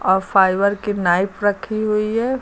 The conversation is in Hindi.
और फाइबर की नाइफ रखी हुई है।